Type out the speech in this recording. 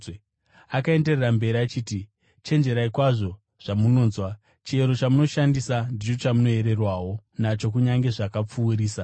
Akaenderera mberi achiti, “Chenjererai kwazvo zvamunonzwa. Chiyero chamunoshandisa, ndicho chamuchayerwawo nacho kunyange zvakapfuurisa.